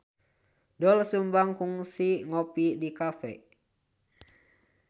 Doel Sumbang kungsi ngopi di cafe